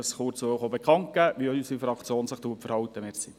Ich wollte Ihnen kurz bekannt geben, wie sich unsere Fraktion verhalten wird.